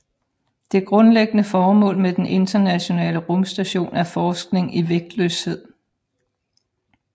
Det grundlæggende formål med den Internationale Rumstation er forskning i vægtløshed